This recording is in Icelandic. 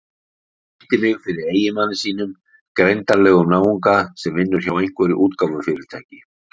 Hún kynnti mig fyrir eiginmanni sínum, greindarlegum náunga sem vinnur hjá einhverju útgáfufyrirtæki.